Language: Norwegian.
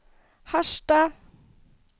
Harstad